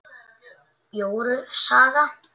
Jóru saga